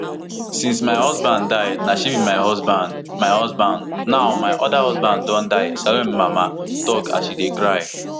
since my husband die na she be my husband my husband now my oda husband don die salome mama tok as she dey cry